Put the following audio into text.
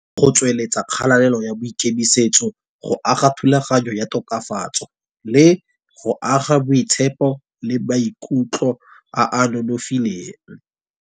Go tsweletsa kgalalela ya boikemisetso, go aga thulaganyo ya tokafatso. Le go aga boitshepo le maikutlo a a nonofileng.